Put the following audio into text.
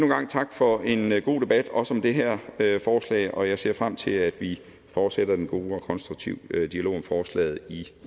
gang tak for en en god debat også om det her her forslag og jeg ser frem til at vi fortsætter den gode og konstruktive dialog om forslaget i